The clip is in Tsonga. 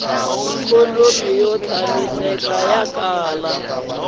ikhonomi yo tshamiseka ku hava